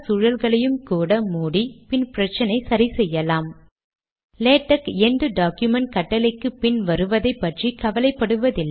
இது ஒரு ஜோடி பிகின் மற்றும் என்ட் ஐடமைஸ் கட்டளை மூலம் உருவாக்கப்படுகிறது